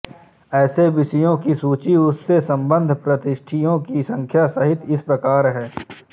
ऐसे विषयों की सूची उससे सम्बद्ध प्रविष्टियों की संख्या सहित इस प्रकार है